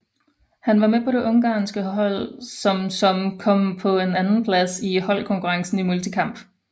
Han var med på det ungarske hold som som kom på en andenplads i holdkonkurrencen i multikamp